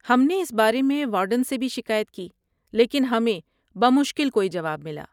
ہم نے اس بارے میں وارڈن سے بھی شکایت کی لیکن ہمیں بمشکل کوئی جواب ملا۔